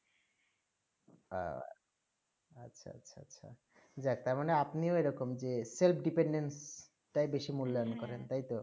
হেঁ আচ্ছা আচ্ছা আচ্ছা যে যাক আপনিও এইরকম যে self dependent তাই বেশি মূল্যায়ন করে তাই তো